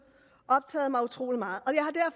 optaget mig utrolig meget